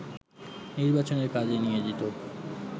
নির্বাচনের কাজে নিয়োজিত